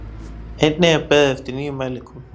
Einnig er beðið eftir nýjum mælingum